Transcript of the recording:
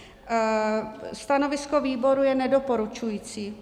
Stanovisko výboru je nedoporučující.